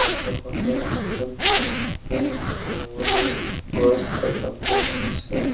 Photo খনত অত বহুত ফুল গছ দেখা পোৱা গৈছে।